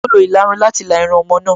Ó lo ìlarun láti la irun ọmọ náà